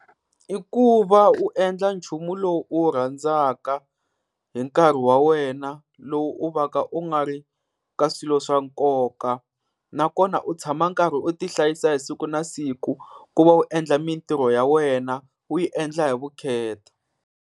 I ku va u endla nchumu lowu u wu rhandzaka hi nkarhi wa wena lowu u va ka u nga ri ka swilo swa nkoka. Nakona u tshama karhi u ti hlayisa hi siku na siku ku va u endla mintirho ya wena u yi endla hi vukheta.